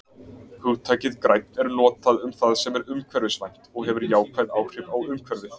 Hugtakið grænn er notað um það sem er umhverfisvænt og hefur jákvæð áhrif á umhverfið.